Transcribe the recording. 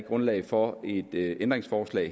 grundlag for et ændringsforslag